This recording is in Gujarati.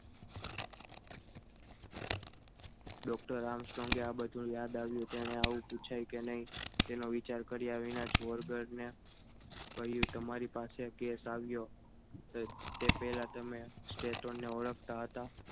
doctor આર્મસ્ટ્રોંગ ને આ બધું યાદ આવ્યું તેને આવું પૂછાય કે નહીં તેનો વિચાર કર્યા વિના જ વર્ગને કહ્યું તમારી પાસે case આવ્યો તે પહેલા તમે status ને ઓળખતા હતા.